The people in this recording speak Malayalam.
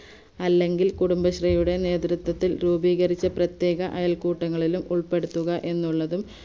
അല്ലെങ്കിൽ കുടുംബശ്രീയുടെ നേത്രത്തത്തിൽ രൂപീകരിച്ച പ്രത്യേക അയൽക്കൂട്ടങ്ങളിലും ഉൾപ്പെടുത്തുക എന്നുള്ളതും